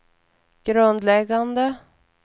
grundläggande